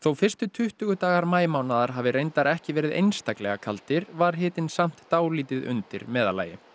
fyrstu tuttugu dagar maímánaðar hafi reyndar ekki verið einstaklega kaldir var hitinn samt dálítið undir meðallagi